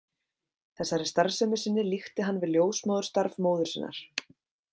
Þessari starfsemi sinni líkti hann við ljósmóðurstarf móður sinnar.